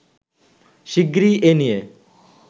শিগগিরই এ নিয়ে